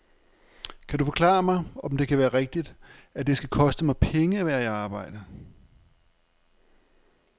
Kan du forklare mig, om det kan være rigtigt, at det skal koste mig penge at være i arbejde.